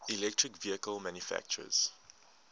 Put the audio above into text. electric vehicle manufacturers